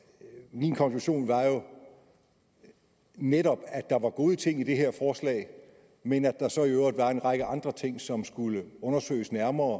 min konklusion var jo netop at der var gode ting i det her forslag men at der så i øvrigt var en række andre ting som skulle undersøges nærmere